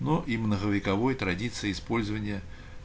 но и многовековой традиции использования